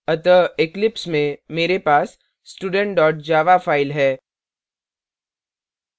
अतः eclipse में मेरे पास student java file है